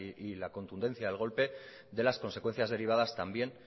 y la contundencia del golpe de las consecuencias derivadas también